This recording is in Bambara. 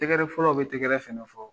Tɛgɛrɛ fɔlaw bɛ tɛgɛrɛ fɛnɛ fɔ.